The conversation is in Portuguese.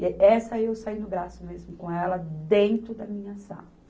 E essa eu saí no braço mesmo com ela, dentro da minha sala.